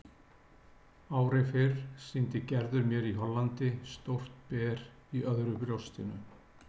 Ári fyrr sýndi Gerður mér í Hollandi stórt ber í öðru brjóstinu.